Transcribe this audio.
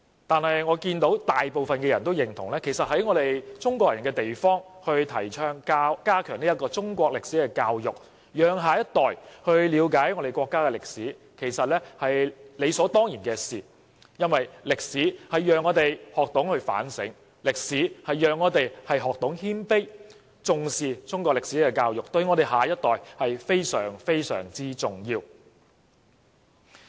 據我所見，大部分人均認同在中國人的地方提倡加強中國歷史教育，讓下一代了解我們國家的歷史，這是理所當然不過，因為歷史讓我們學懂反省，歷史讓我們學懂謙卑，重視中國歷史教育對下一代非常、非常重要。